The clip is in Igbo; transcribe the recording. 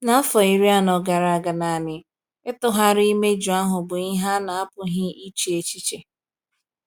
N’afọ iri anọ gara aga naanị, ịtụgharị imeju ahụ bụ ihe a na-apụghị iche echiche.